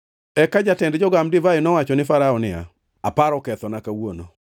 Eka jatend jogam divai nowacho ne Farao niya, “Aparo kethona kawuono.